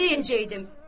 Nə deyəcəkdim?